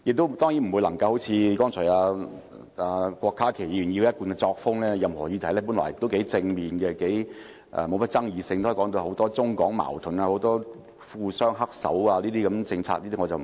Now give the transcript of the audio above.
我當然不會像郭家麒議員般，根據他一貫作風，本來是頗正面的議案、沒有太大爭議性，也可以描繪為涉及很多中港矛盾、富商"黑手"等。